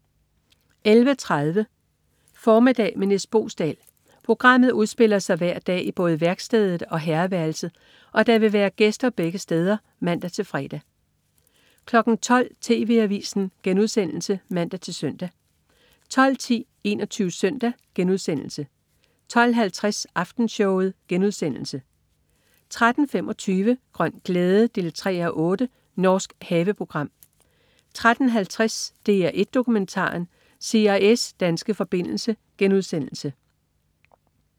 11.30 Formiddag med Nis Boesdal. Programmet udspiller sig hver dag i både værkstedet og herreværelset, og der vil være gæster begge steder (man-fre) 12.00 TV Avisen* (man-søn) 12.10 21 Søndag* 12.50 Aftenshowet* 13.25 Grøn glæde 3:8. Norsk haveprogram 13.50 DR1 Dokumentaren. CIA's danske forbindelse*